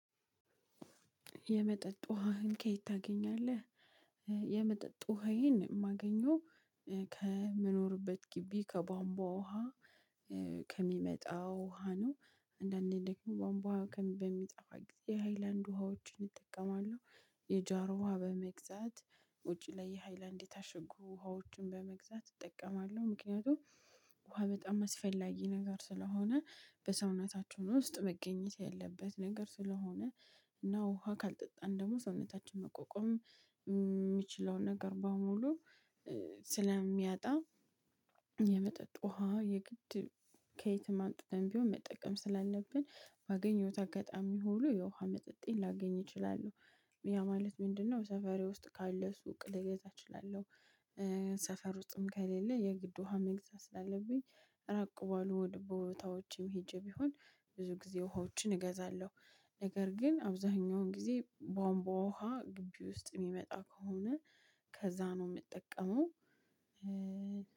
የመጠጥ ውሃህን ከየት ታገኛለህ? የመጠጥ ውሃየን የማገኘው ከምኖርበት ግቢ ከቧንቧ ውሃ ከሚመጣው ውሃ ነው። አንዳንዴ ደግሞ ባንቧውሀ በሚጠፋ ጊዜ ሃይላንድ ውሃዎችን እጠቀማለሁ። የጃር ውሃ በመግዛት ውጭ ላይ የሃይላንድ የታሽጉ ውሃዎችን በመግዛት እጠቀማለሁ። ምክንያቱም ውሃ በጣም አስፈላጊ ነገር ስለሆነ በሰውነታችን ውስጥ መገኘት ያለበት ነገር ስለሆነ እና ውሃ ካልጠጣን ደግሞ ሰውነታችን መቆቆም የሚችለውን ነገር በሙሉ ስለሚያጣ። የመጠጥ ውሃ የግድ ከየትም አምጥተን ቢሆን መጠቀም ስላለብን ባገኘውት አጋጣሚ ሁሉ የውሃ መጠጤን ላገኝ እችላለሁ። ያ ማለት ምንድን ነው? ሰፈሬ ውስጥ ካለ ሱቅ ልገዛ እችላለሁ። ሰፈር ውስጥም ከሌለ የግድ ውሃ መግዛት ስላለብኝ። ራቅ ባሉ ወደ ቦታዎችም ሄጄ ቢሆን ብዙ ጊዜ ውሃዎችን እገዛለሁ። ነገር ግን አብዛኛውን ጊዜ በዋንቧ ውሃ ግቢ ውስጥ የሚመጣ ከሆነ ከዛ ነው የምጠቀመው።